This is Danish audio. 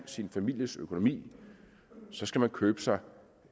sin families økonomi skal man købe sig